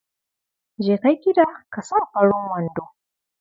Jeka gida ka sa farin wando.